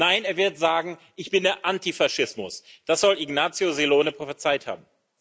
Nein, er wird sagen ‹Ich bin der Antifaschismus›, das soll Ignazio Silone prophezeit haben.